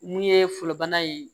Mun ye fɔlɔ bana ye